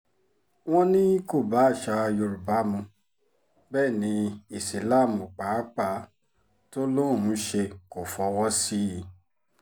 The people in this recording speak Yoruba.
wọ́n ní kó bá àṣà yorùbá mu bẹ́ẹ̀ ní ìsíláàmù pàápàá tó lóun ń ṣe kó fọwọ́ sí i